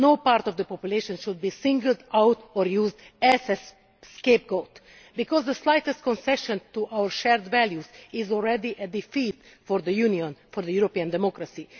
No part of the population should be singled out or used as a scapegoat, because the slightest concession to our shared values is already a defeat for the Union and for European democracy.